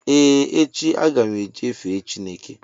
Ee, echi, agam eje fee Chịneke